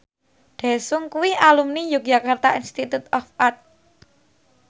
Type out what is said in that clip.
Daesung kuwi alumni Yogyakarta Institute of Art